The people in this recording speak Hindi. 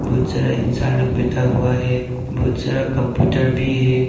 बहुत सारा इंसान लोग बैठा हुआ है बहुत सारा कंप्यूटर भी है।